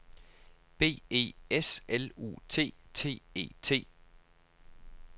B E S L U T T E T